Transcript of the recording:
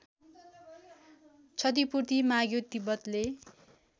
क्षतिपूर्ति माग्यो तिब्बतले